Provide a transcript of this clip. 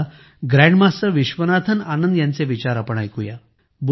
चला ग्रँडमास्टर विश्वनाथन आनंद यांचे विचार आता आपण ऐकुया